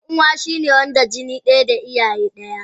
Dan uwa shine Wanda jini daya da iyaye daya.